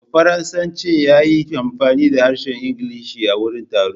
Bafaranshen ya yi amfani da harshen Ingilishi a wurin taron.